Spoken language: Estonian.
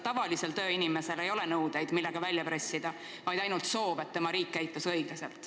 Tavalisel tööinimesel ei ole nõudeid, millega hüvitist välja pressida, on vaid soov, et tema riik käituks õiglaselt.